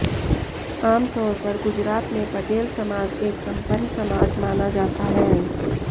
आम तौैर पर गुजरात में पटेल समाज एक संपन्न समाज माना जाता है